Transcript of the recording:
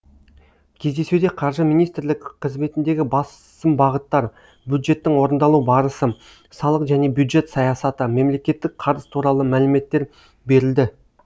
кездесуде қаржы министрлігі қызметіндегі басым бағыттар бюджеттің орындалу барысы салық және бюджет саясаты мемлекеттік қарыз туралы мәліметтер берілді